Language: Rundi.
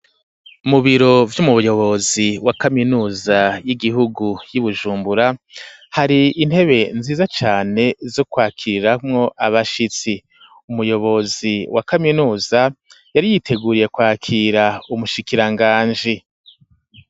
Mu biro vy'umuyobozi wa kaminuza y'igihugu y'i Bujumbura hari intebe nziza cane zo kwakiriramwo abashitsi. Umuyobozi wa kaminuza yari yiteguriye kwakira umushikiranganji.